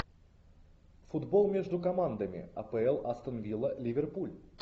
футбол между командами апл астон вилла ливерпуль